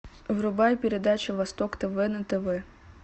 врубай передачу восток тв на тв